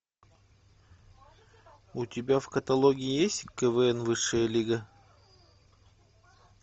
у тебя в каталоге есть квн высшая лига